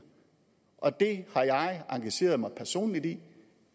og det har jeg engageret mig personligt i